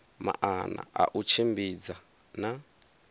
maana a u tshimbidza na